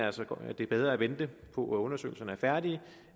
altså at det er bedre at vente på at undersøgelserne er færdige